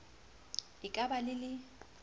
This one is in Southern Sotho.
e ka ba le le